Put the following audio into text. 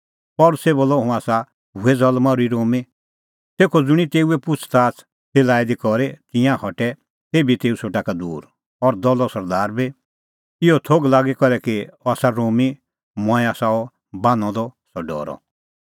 तेखअ ज़ुंणी तेऊए पुछ़ज़ाच़ ती लाई दी करी तिंयां हटै तेभी तेऊ सेटा का दूर और दलो सरदार बी इहअ थोघ लागी करै कि अह आसा रोमी मंऐं आसा अह बान्हअ द सह डरअ